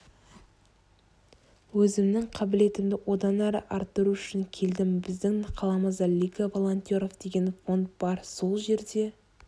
өзімнің қабілетімді одан әрі арттыру үшін келдім біздің қаламызда лига волонтеров деген фонд бар сол жерде